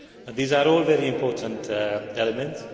These are all very important elements.